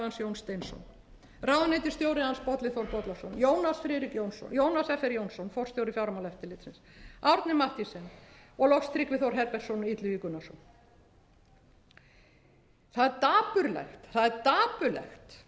steinsson ráðuneytisstjóri hans bolli þór bollason jónas fr jónsson forstjóri fjármálaeftirlitsins árni mathiesen og loks tryggvi þór herbertsson og illugi gunnarsson það er